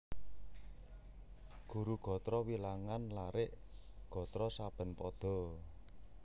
Guru gatra wilangan larik/gatra saben pada